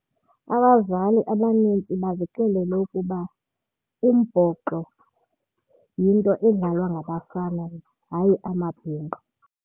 Abazali abanintsi bazixelele ukuba umbhoxo yinto edlalwa ngabafana hayi amabhinqa.